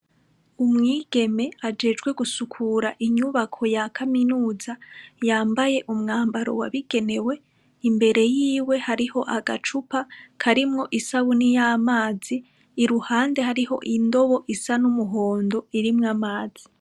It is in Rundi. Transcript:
Umwigeme ajejwe gusukura inyubako ya kaminuza, yambaye umwambaro wabigenewe, imbere yiwe hariho agacupa karimwo isabuni y'amazi, iruhande harih'indobo isa n'numuhondo irimwo amazi.